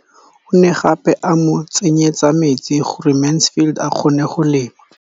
O ne gape a mo tsenyetsa metsi gore Mansfield a kgone go lema.